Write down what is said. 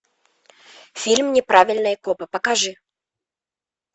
фильм неправильные копы покажи